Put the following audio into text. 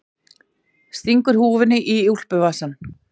Stingur húfunni í úlpuvasann.